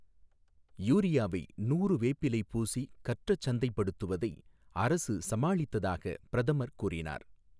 யூரியாவை நூறு வேப்பிலை பூசி கற்றச் சந்தைப்படுத்தப்படுவதை அரசு சமாளித்ததாகப் பிரதமர் கூறினார்.